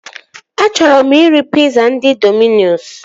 Achọrọ m iri piza ndị Dominos